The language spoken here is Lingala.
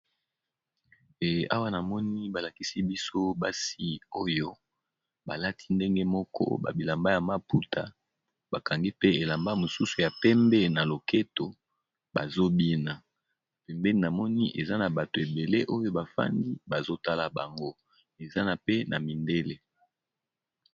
Eh awa namoni ba lakisi biso basi oyo ba lati ndenge moko ba bilamba ya maputa, ba kangi pe elamba mosusu ya pembe na loketo bazo bina. Pembeni na moni eza na bato ebele oyo bafandi bazo tala bango, eza na pe na mindele.